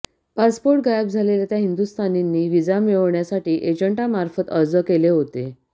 passport गायब झालेल्या त्या हिंदुस्थानींनी व्हिसा मिळवण्यासाठी एजंटांमार्फत अर्ज केले होते